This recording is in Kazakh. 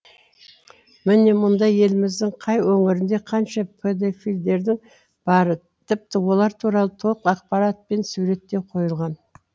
міне мұнда еліміздің қай өңірінде қанша педофилдердің бары тіпті олар туралы толық ақпарат пен суреті де қойылған